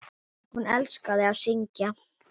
Hún elskaði að syngja.